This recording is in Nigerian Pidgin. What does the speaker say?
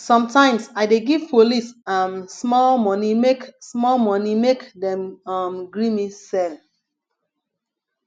sometimes i dey give police um small moni make small moni make dem um gree me sell